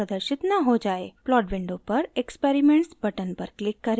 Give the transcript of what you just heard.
plot window पर experiments button पर click करें